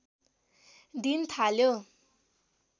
दिन थाल्यो